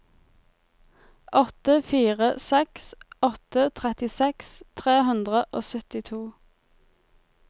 åtte fire seks åtte trettiseks tre hundre og syttito